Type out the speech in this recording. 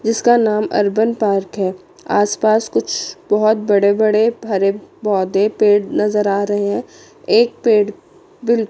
जिसका नाम urban park है आस पास कुछ बहुत बड़े बड़े भरे पौधे पेड़ नजर आ रहे हैं एक पेड़ बिल--